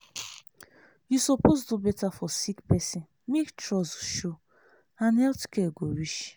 you suppose do better for sick person make trust show and health care go reach.